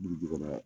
Buruju kɔnɔ